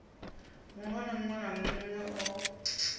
muhulwane munwe na munwe o